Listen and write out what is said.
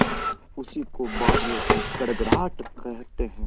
उसी को बादलों की गड़गड़ाहट कहते हैं